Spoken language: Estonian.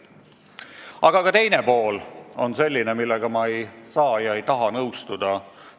Aga siin on ka teine pool, millega ma ei saa ega taha nõustuda.